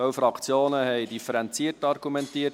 Ein Teil der Fraktionen hat differenziert argumentiert.